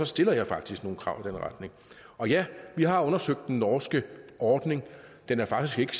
stiller jeg faktisk nogle krav i den retning ja vi har undersøgt den norske ordning den er faktisk